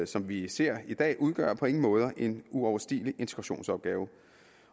som vi ser i dag udgør på ingen måde en uoverstigelig integrationsopgave